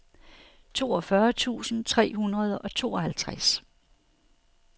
toogfyrre tusind tre hundrede og tooghalvtreds